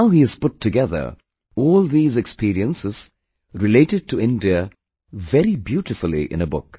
Now he has put together all these experiences related to India very beautifully in a book